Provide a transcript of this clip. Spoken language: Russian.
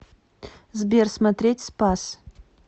сбер смотреть спас